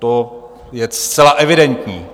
To je zcela evidentní.